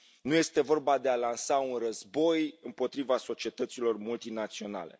Nu este vorba de a lansa un război împotriva societăților multinaționale.